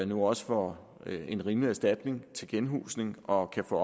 nu også får en rimelig erstatning til genhusning og kan få